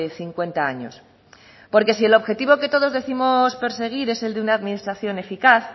cincuenta años porque si el objetivo que todos décimos perseguir es el de una administración eficaz